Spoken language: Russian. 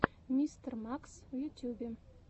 мистер макс в ютюбе